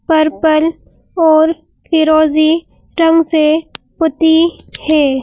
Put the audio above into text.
Purple और फिरोजी रंग से होती है।